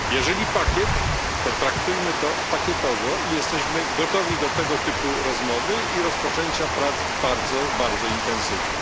Jeżeli pakiet, to traktujmy to pakietowo i jesteśmy gotowi do tego typu rozmowy i rozpoczęcia prac bardzo, bardzo intensywnie.